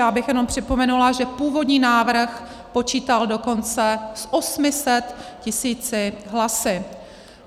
Já bych jenom připomenula, že původní návrh počítal dokonce s 800 tisíci hlasy.